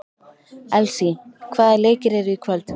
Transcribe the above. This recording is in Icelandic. Elsý, hvaða leikir eru í kvöld?